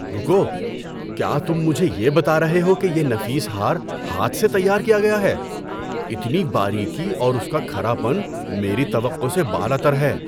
رکو، کیا تم مجھے یہ بتا رہے ہو کہ یہ نفیس ہار ہاتھ سے تیار کیا گیا ہے؟ اتنی باریکی اور اس کا کھرا پن میری توقع سے بالاتر ہے!